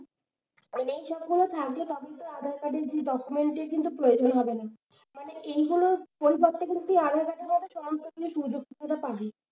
মানে এই ছবিগুলো থাকলে তখন তো আধার-কার্ড এর যেই document প্রয়োজন হবে না। এইগুলোর পরিবর্তে কিন্তু এই আধার-কার্ড এর সবরকমের সুযোগ সুবিধা পাবে।